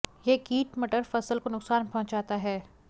यह कीट मटर फसल को नुकसान पहुंचाता है